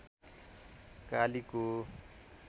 कालीको